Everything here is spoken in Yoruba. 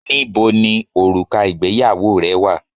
Níboni òrùka ìgbéyàwó rẹ wà?